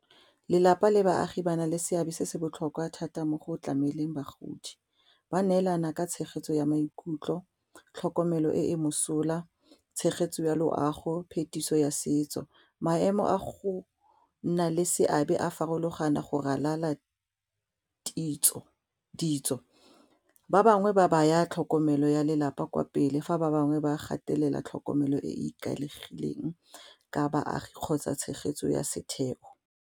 Lelapa le baagi ba na le seabe se se botlhokwa thata mo go tlameleng bagodi ba neelana ka tshegetso ya maikutlo, tlhokomelo e e mosola tshegetso ya loago phetiso ya setso maemo a go nna le seabe a farologana go ralala ditso, ba bangwe ba baya tlhokomelo ya lelapa kwa pele fa ba bangwe ba gatelela tlhokomelo e e ikaegileng ka baagi kgotsa tshegetso ya setheo.